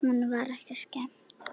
Honum var ekki skemmt!